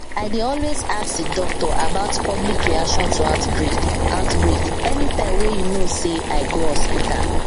i dey always ask the doctor about public reaction to outbreak outbreak anytym wey you know say i go hospital